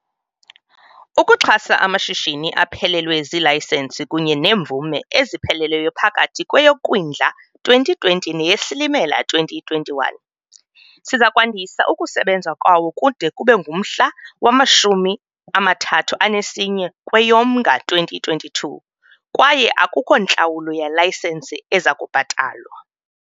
Ukuxhasa amashishini aphelelwe zilayisenisi kunye neemvume eziphelelwe phakathi kweyoKwindla 2020 neyeSilimela 2021, sizakwandisa ukusebenza kwawo kude kube ngumhla we-31 kweyoMnga 2022 kwaye akukho ntlawulo yelayisenisi ezakubhatalwa.